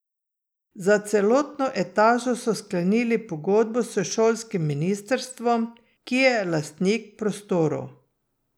Za celotno etažo so sklenili pogodbo s šolskim ministrstvom, ki je lastnik prostorov.